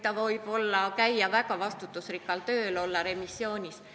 Ta võib käia väga vastutusrikkal tööl, olla remissioonis.